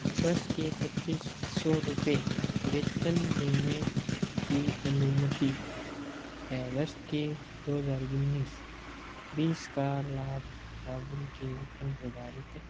वर्ष के पच्चीस सो रुपय वेतन देने की अनुमति है वर्ष के दो हजार उनीस बीस का लाभ बाबुल के पर निर्धारित --